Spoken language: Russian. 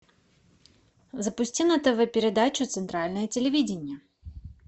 запусти на тв передачу центральное телевидение